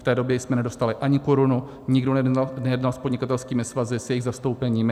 V té době jsme nedostali ani korunu, nikdo nejednal s podnikatelskými svazy, s jejich zastoupeními.